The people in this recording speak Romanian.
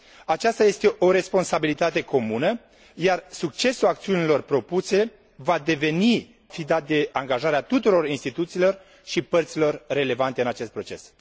Aceasta este o responsabilitate comună, iar succesul acțiunilor propuse va fi dat de angajarea tuturor instituțiilor și părților relevante în acest proces.